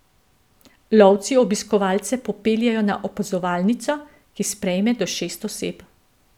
Lovci obiskovalce popeljejo na opazovalnico, ki sprejme do šest oseb.